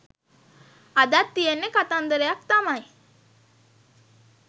අදත් තියෙන්නේ කතන්දරයක් තමයි